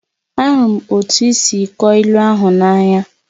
Ahụrụ m otú i si kọọ ilu ahụ n'anya